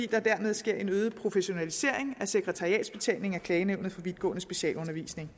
der dermed sker en øget professionalisering af sekretariatsbetjeningen af klagenævnet for vidtgående specialundervisning